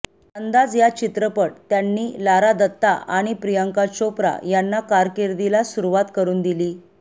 अंदाज या चित्रपट त्यांनी लारा दत्ता आणि प्रियांका चोप्रा यांना कारकीर्दीला सुरुवात करून दिली